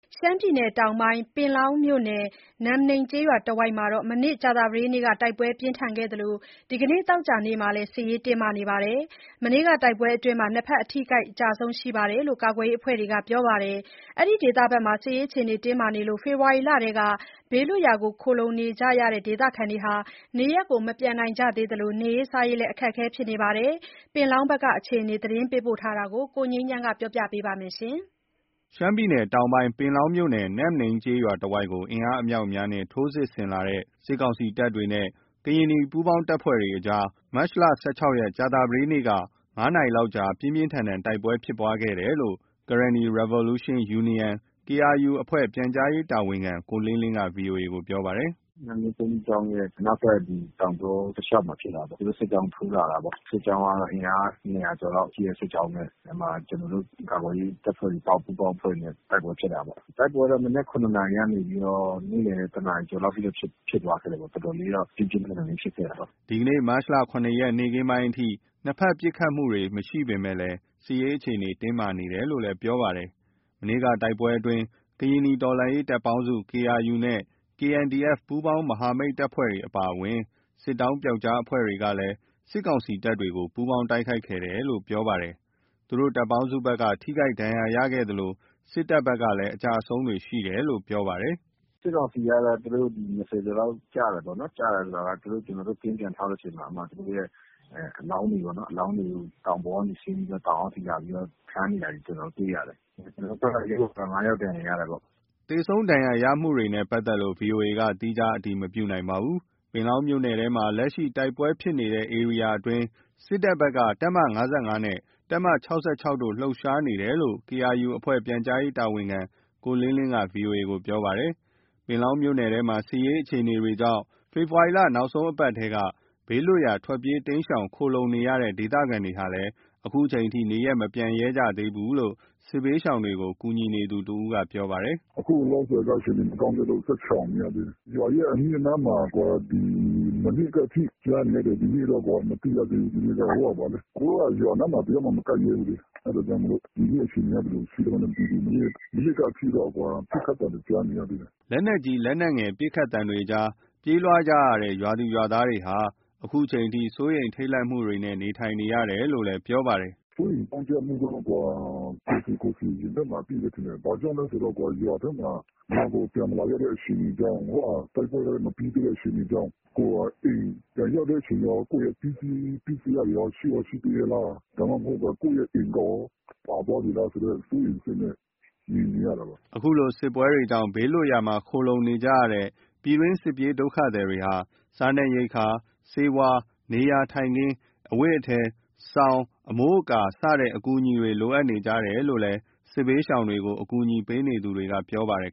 ရှမ်းပြည်တောင်ပိုင်း ပင်လောင်းမြို့နယ်၊ နမ်းနိန်းကျေးရွာတဝိုက်မှာ မနေ့ ကြာသပတေးနေ့က တိုက်ပွဲပြင်းထန်ခဲ့သလို ဒီနေ့ သောကြာနေ့မှာလည်း စစ်ရေးတင်းမာနေပါတယ်။ မနေ့က တိုက်ပွဲအတွင်းမှာတော့ ၂ ဖက် အထိအခိုက် အကျအဆုံးရှိတယ်လို့ ကာကွယ်ရေးအဖွဲ့တွေဘက်က ပြောပါတယ်။ အဲဒီဒေသဖက်မှာ စစ်ရေးအခြေအနေကြောင့် ဖေဖော်ဝါရီလထဲက ဘေးလွတ်ရာမှာ ခိုလှုံနေကြရတဲ့ ဒေသခံတွေဟာလည်း နေရပ်မပြန်နိုင်သလို နေရေး စားရေး အခက်အခဲဖြစ်နေပါတယ်။ ပင်လောင်းဘက်က အခြေအနေသတင်းပေးပို့ခက်ကို အခြေခံပြီး ကိုငြိမ်းချမ်းကတင်ပြပါမယ်။ ရှမ်းပြည်တောင်ပိုင်း ပင်လောင်းမြို့နယ်၊ နမ်းနိန်းကျေးရွာတဝိုက်ကို အင်အားအမြောက်အများနဲ့ ထိုးစစ်ဆင်လာတဲ့ စစ်ကောင်စီတပ်တွေနဲ့ ကရင်နီ ပူးပေါင်းတပ်ဖွဲ့တွေအကြား မတ် ၁၆ ရက်၊ ကြာသပတေးနေ့က ၅ နာရီကြာလောက် ပြင်းပြင်းထန်ထန် တိုက်ပွဲဖြစ်ခဲ့တယ်လို့ Karenni Revolution Union အဖွဲ့ ပြန်ကြားရေးတာဝန်ခံ ကိုလင်းလင်းက VOA ကို ပြောပါတယ်။ “နမ်းနိန်းဘုန်းကြီးကျောင်းရဲ့ အနောက်ဘက် တောင်ကြောတလျှောက်မှာ ဖြစ်တာပေါ့။ သူတို့ စစ်ကြောင်းထိုးလာတာပေါ့။ စစ်ကြောင်းကတော့ အင်အား ၂၀၀ ကျော်လောက်ရှိတဲ့ စစ်ကြောင်းနဲ့ အဲ့မှာ ကျနော်တို့ ကာကွယ်ရေးတပ်တွေ ပူးပေါင်းအဖွဲ့တွေနဲ့ တိုက်ပွဲဖြစ်တာပေါ့။ တိုက်ပွဲကတော့ မနက် ၇ နာရီကနေပြီးတော့ နေ့လည် ၁နာရီကျော်လောက်အထိ ဖြစ်သွားခဲ့တယ်ပေါ့လေ။ တော်တော်တော့ ပြင်းပြင်းထန်ထန် ဖြစ်ခဲ့တာပေါ့။” ဒီနေ့ မတ်လ ၁၇ ရက် နေ့ခင်းပိုင်းအထိ နှစ်ဖက် ပစ်ခတ်မှုမရှိပေမယ့် စစ်ရေးအခြေအနေ တင်းမာနေတယ်လို့ ပြောပါတယ်။ မနေ့က တိုက်ပွဲအတွင်း ကရင်နီ တော်လှန်ရေးတပ်ပေါင်းစု နဲ့ KNDF ပူးပေါင်း မဟာမိတ်တပ်ဖွဲ့တွေအပါအဝင် စစ်တောင်းပျောက်ကျားအဖွဲ့တွေက စစ်ကောင်စီတပ်တွေကို ပူးပေါင်းတိုက်ခိုက်ခဲ့တယ်လို့ ဆိုပါတယ်။ သူတို့တပ်ပေါင်းစုဘက်က ထိခိုက်ဒဏ်ရာရခဲ့သလို စစ်တပ်ဘက်ကလည်း အကျအဆုံးရှိတယ်လို့ ဆိုပါတယ်။ “စစ်ကောင်စီကတော့ သူတို့ ဒီ ၂၀ ကျော်လောက် ကျတယ်ပေါ့နော်။ ကျတယ်ဆိုတာက ကျနော်တို့ ကင်းပြန်ထောက်တဲ့အချိန်မှာ အဲ့မှာ သူတို့ရဲ့ အလောင်းတွေပေါ့နော်၊ အလောင်းတွေ တောင်ပေါ်ကနေဆင်းပြီးတော့ တောင်အောက်ထိ ခြားနေတာကို ကျနော်တို့ တွေ့ရတယ်။ ကျနော်တို့ဘက်က ၅ ယောက် ဒဏ်ရာ ရရှိတယ်ပေါ့။” သေဆုံးဒဏ်ရာရမှုနဲ့ပါတ်သက်လို့ VOA က သီးခြား အတည်မပြုနိုင်ပါဘူး။ ပင်လောင်းမြို့နယ်ထဲမှာ လက်ရှိတိုက်ပွဲဖြစ်တဲ့ ဧရိယာအတွင်းမှာ စစ်တပ်ဘက်က တပ်မ ၅၅၊ တပ်မ ၆၆ တို့ လှုပ်ရှားနေတယ်လို့ KRU အဖွဲ့ပြန်ကြားရေး တာဝန်ခံ ကိုလင်းလင်းက VOA ကို ပြောပါတယ်။ ပင်လောင်းမြို့နယ်ထဲမှာ စစ်ရေးအခြေအနေကြောင့် ဖေဖော်ဝါရီလ နောက်ဆုံးအပတ်တည်းက ဘေးလွတ်ရာ ထွက်ပြေးတိမ်းရှောင် ခိုလှုံနေကြရတဲ့ ဒေသခံတွေဟာလည်း ခုချိန်ထိ နေရပ်မပြန်ရဲကြသေးဘူးလို့ စစ်ဘေးရှောင်တွေကို ကူညီနေသူ တစ်ယောက်က ပြောပြပါတယ်။ “အခုလောလောဆယ်က အခြေအနေမကောင်းသေးလို့ ဆက်ရှောင်နေသေးတယ်။ ရွာရဲ့ အနီးအနားမှာက မနေ့ကအထိ ကြားနေရတယ်။ ဒီနေ့ကတော့ မသိရသေးဘူး။ ဒီနေ့က ကိုယ်တို့က ရွာအနားမှာ တစ်ယောက်မှ မကပ်ရဲသေးဘူးလေ။ အဲ့ဒါကြောင့်မို့လို့ ဒီနေ့အခြေအနေက ဘယ်လိုရှိလဲ မသိသေးဘူး။ မနေ့ကအထိတော့ ပစ်ခတ်သံတွေ ကြားနေရတုန်း။” လက်နက်ကြီး၊ လက်နက်ငယ် ပစ်ခတ်ခံတွေကြား ပြေးလွှားလာကြတဲ့ ရွာသူရွာသားတွေဟာ ခုချိန်ထိ စိုးရိမ်ထိတ်လန့်မှုတွေနဲ့ နေထိုင်နေကြရတယ်လို့ ပြောပါတယ်။ “စိုးရိမ်ကြောင့်ကြမှုက ကိုယ်စီကိုယ်စီ ရင်ထဲမှာ အပြည့်ပဲထင်တယ်။ ဘာကြောင့်လဲဆိုတော့ ရွာကို ပြန်မလာရတဲ့ အခြေအနေကြောင့်၊ တိုက်ပွဲလည်း မပြီးသေးတဲ့ အခြေအနေကြောင့်၊ ဟိုဟာ ရွာကို ပြန်ရောက်တဲ့အချိန်တော့ ကိုယ့်ရဲ့ပစ္စည်းက ရှိရောရှိသေးရဲ့လား၊ ဒါမှမဟုတ်ဘဲ ကိုယ့်ရဲ့ အိမ်ကရော ပါသွားပြီးလာဆိုတဲ့ စိုးရိမ်စိတ်နဲ့ နေနေရတာပါ။” အခုလို စစ်ပွဲတွေကြောင့် ဘေးလွတ်ရာမှာ ခိုလှုံနေထိုင်နေကြရတဲ့ ပြည်တွင်း စစ်ပြေးဒုက္ခသည်တွေဟာ စားနပ်ရိက္ခာ ဆေးဝါး၊ နေရာထိုင်ခင်း၊ အဝတ်အထည်၊ စောင်၊ အမိုးအကာစတဲ့ အကူအညီတွေ လိုအပ်နေကြတယ်လို့ စစ်ဘေးရှောင်တွေကို အကူအညီပေးနေသူတွေက ပြောပါတယ်